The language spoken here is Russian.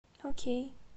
окей